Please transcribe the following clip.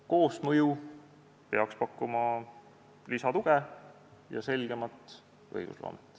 Koosmõju peaks pakkuma lisatuge ja võimaldama selgemat õigusloomet.